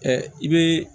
i bɛ